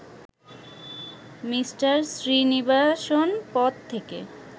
Me. Srinivasan পদ থেকে